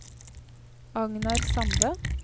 Agnar Sande